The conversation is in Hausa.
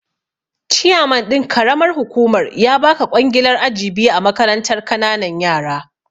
Chiyaman ɗin karamar hukumar ya baka ƙwangilar aji biyu a makarantar kananan yara